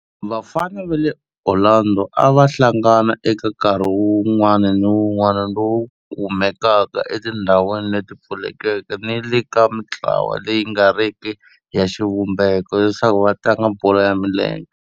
Vafana va le Orlando a va hlangana eka nkarhi wun'wana ni wun'wana lowu kumekaka etindhawini leti pfulekeke ni le ka mintlawa leyi nga riki ya xivumbeko leswaku va tlanga bolo ya milenge.